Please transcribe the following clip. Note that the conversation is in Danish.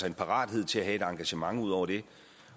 en parathed til at have et engagement ud over det